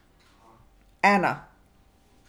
Ena.